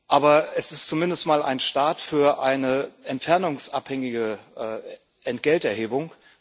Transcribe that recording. Aber es ist zumindest einmal ein Start für eine entfernungsabhängige Entgelterhebung.